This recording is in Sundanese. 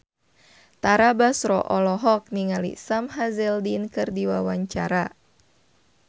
Tara Basro olohok ningali Sam Hazeldine keur diwawancara